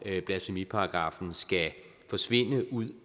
blasfemiparagraffen skal forsvinde ud